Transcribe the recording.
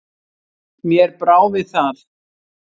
Mér brá við það.